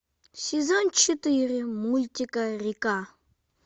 сезон четыре мультика река